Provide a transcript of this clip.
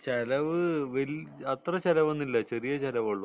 ചെലവ് അത്ര ചെലവ് ഒന്നും ഇല്ല ചെറിയ ചെലവേ ഉള്ളൂ